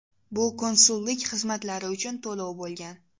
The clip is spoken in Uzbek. Bu konsullik xizmatlari uchun to‘lov bo‘lgan.